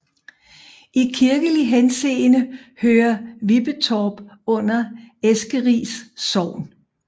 I kirkelig henseende hører Vippetorp under Eskeris Sogn